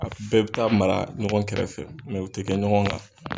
A bɛɛ bɛ taa mara ɲɔgɔn kɛrɛfɛ u tɛ kɛ ɲɔgɔn kan.